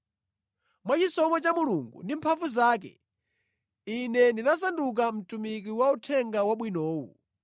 Mwachisomo cha Mulungu ndi mphamvu zake, ine ndinasanduka mtumiki wa Uthenga Wabwinowu.